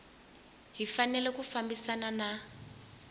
yi fanele ku fambisana na